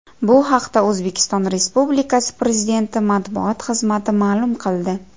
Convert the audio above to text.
Bu haqda O‘zbekiston Respublikasi Prezidenti Matbuot xizmati ma’lum qildi .